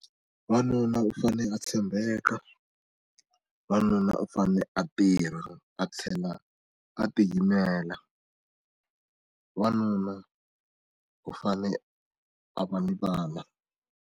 Wanuna u fane a tshembeka, wanuna u fane a tirha a tlhela a tiyimela wanuna u fane a va ni vana.